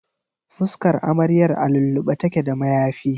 Fuskar amaryar a lullube take da mayafi.